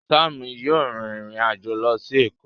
Sam yíò rìn ìrin àjọ ló sì Eko